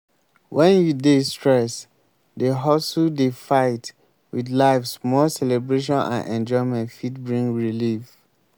when you dey stress dey hustle dey fight with life small celebration and enjoyment fit bring relief